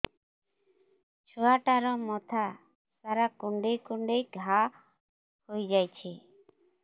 ଛୁଆଟାର ମଥା ସାରା କୁଂଡେଇ କୁଂଡେଇ ଘାଆ ହୋଇ ଯାଇଛି